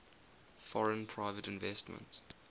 foreign private investment